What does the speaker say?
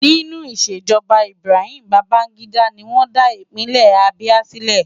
Nínú ìṣèjọba Ibrahim Babangida ni wọ́n dá Ìpínlẹ̀ Abia sílẹ̀.